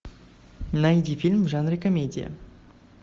найди фильм в жанре комедия